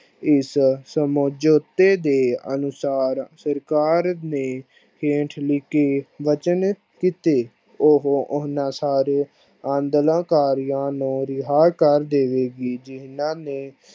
ਇਸ ਸਮਜੋਤੇ ਦੇ ਅਨੁਸ਼ਾਰ ਸਰਕਾਰ ਨੇ ਹੇਠ ਲਿਖੇ ਵਚਨ ਕੀਤੇ। ਉਹ ਓਨਾ ਸਾਰੇ ਆਡੋਲਨਕਾਰੀਆ ਨੂੰ ਰਿਹਾ ਕਰ ਦੇਵੇਗੀ ਜਿਹਨਾਂ ਨੇ